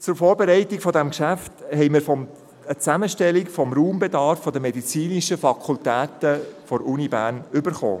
Zur Vorbereitung dieses Geschäfts haben wir eine Zusammenstellung des Raumbedarfs der medizinischen Fakultät der Universität Bern erhalten.